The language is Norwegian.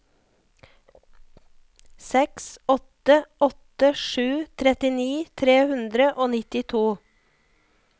seks åtte åtte sju trettini tre hundre og nittito